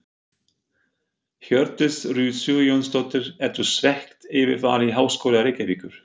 Hjördís Rut Sigurjónsdóttir: Ertu svekkt yfir vali Háskóla Reykjavíkur?